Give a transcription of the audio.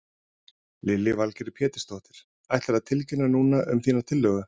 Lillý Valgerður Pétursdóttir: Ætlarðu að tilkynna núna um þína tillögu?